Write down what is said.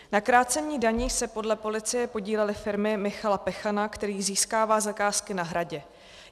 Na krácení daní se podle policie podílely firmy Michala Pechana, který získává zakázky na Hradě.